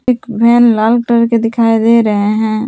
एक वैन लाल कलर के दिखाई दे रहे हैं।